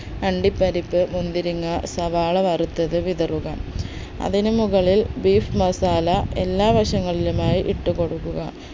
അണ്ടിപ്പരിപ്പ് മുന്തിരിങ്ങ സവാള വറുത്തത് വിതറുക അതിനു മുകളിൽ beef masala എല്ലാ വശങ്ങളിലുമായി ഇട്ടുകൊടുക്കുക